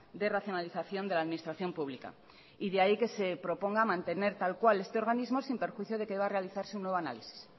de racionalización de la administración pública de ahí que se proponga mantener tal cual este organismo sin perjuicio de que deba realizarse un nuevo análisis